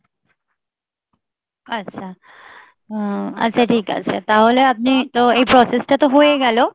আচ্ছা ঠিক আছে উম তাহলে আপনি তো এই process টা তো হয়ে গেলো।